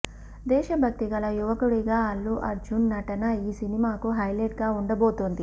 దేశ భక్తి గల యువకుడిగా అల్లు అర్జున్ నటన ఈ సినిమాకు హైలెట్ గా ఉండబోతోంది